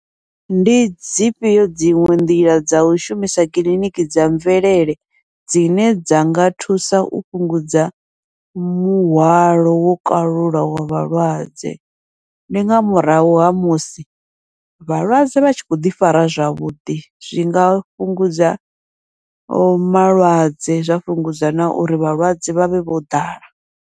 Ndi dzifhio dziṅwe nḓila dza u shumisa kiliniki dza mvelele dzine dza nga thusa u fhungudza muhwalo wo kalulaho wa vhalwadze, ndi nga murahu ha musi vhalwadze vha tshi kho ḓi fara zwavhuḓi, zwinga fhungudza malwadze zwa fhungudza na uri vhalwadze vhavhe vho ḓala.